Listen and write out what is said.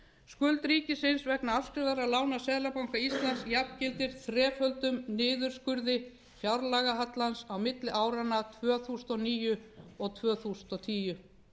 skuld ríkisins vegna afskrifaðra lána seðlabanka íslands jafngildir þreföldum niðurskurði fjárlagahallans á milli áranna tvö þúsund og níu og tvö þúsund og tíu